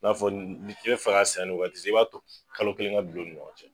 N'a fɔ n be fe ka san yann'o wagati cɛ, i b'a to kalo kelen ka don u ni ɲɔgɔn cɛ.